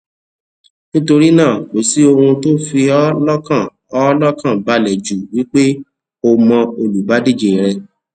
nítorí náà kò sí ohun tó fi p ọ lọkàn ọ lọkàn ba le ju wípé o mọ olùbádíje rẹ